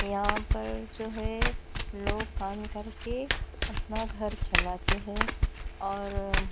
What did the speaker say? यहां पर जो है लोग काम करके अपना घर चलते हैं और--